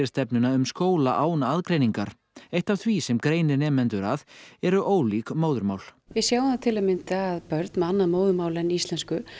stefnuna um skóla án aðgreiningar eitt af því sem greinir nemendur að eru ólík móðurmál við sjáum það til að mynda að börn með annað móðurmál en íslensku